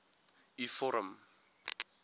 u vorm